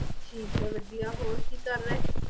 ਠੀਕ ਹੈ ਵਧੀਆ ਹੋਰ ਕੀ ਕਰ ਰਹੇ